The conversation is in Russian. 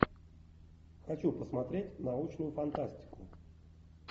хочу посмотреть научную фантастику